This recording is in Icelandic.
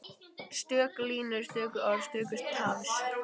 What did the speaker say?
Stöku línur, stöku orð, stöku tafs.